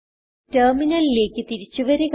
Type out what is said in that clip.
ടെർമിനലിലേക്ക് തിരിച്ചു വരിക